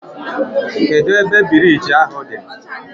Kedụ ebe biriji ahụ dị?